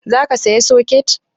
Za ka saya soket?